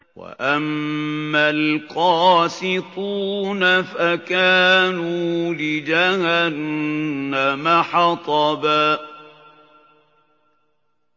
وَأَمَّا الْقَاسِطُونَ فَكَانُوا لِجَهَنَّمَ حَطَبًا